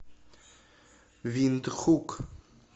виндхук